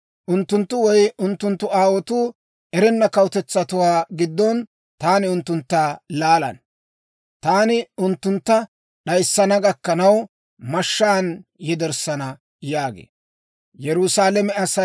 Unttunttu woy unttunttu aawotuu erenna kawutetsatuwaa giddon taani unttuntta laalana. Taani unttuntta d'ayissana gakkanaw, mashshaan yederssana» yaagee.